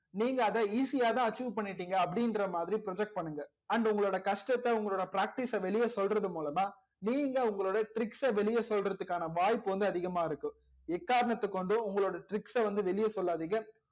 நீங்க அதா easy யா அத achieve பண்ணிடிங்க அப்டி இங்குரா மாதிரி project பண்ணுங்க and உங்கலோட கஷ்டத்த உங்களோட practice ச வெளில சொல்றது மூலமா நீங்க உங்கலோட tricks ச வெளில சொல்றதுக்கான வாய்ப்பு வந்து அதிகமா இருக்கு எக்காரானத்தக் கொண்டும் உங்களோட tricks ச வெளில சொல்லாதிங்க